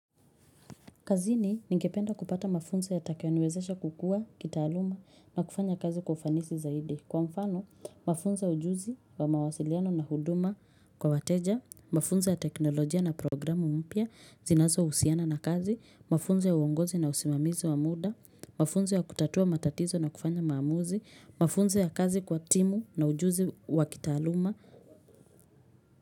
Kazini ningependa kupata mafunzo yatakayoniwezesha kukua, kitaaluma na kufanya kazi kwa ufanisi zaidi. Kwa mfano, mafunzo ya ujuzi wa mawasiliano na huduma kwa wateja, mafunzo ya teknolojia na programu mpya, zinazo husiana na kazi, mafunzo ya uongozi na usimamizi wa muda, mafunzo ya kutatua matatizo na kufanya maamuzi, mafunzo ya kazi kwa timu na ujuzi wa kitaaluma.